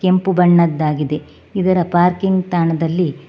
ಕೆಂಪು ಬಣ್ಣದಾಗಿದೆ ಇದರ ಪಾರ್ಕಿಂಗ್ ತಾಣದಲ್ಲಿ--